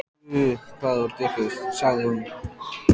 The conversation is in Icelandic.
Guð, hvað þú ert vitlaus, sagði hún.